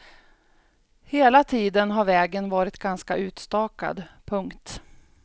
Hela tiden har vägen varit ganska utstakad. punkt